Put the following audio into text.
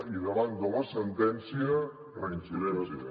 i davant de la sentència reincidència